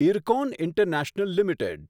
IRCON international limited